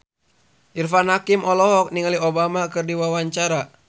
Irfan Hakim olohok ningali Obama keur diwawancara